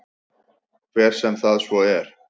Hver sem það svo er.